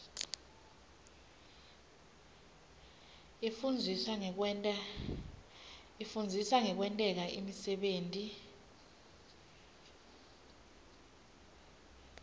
ifundzisa ngekwenta imisebenti